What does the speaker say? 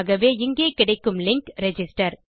ஆகவே இங்கே கிடைக்கும் லிங்க் ரிஜிஸ்டர்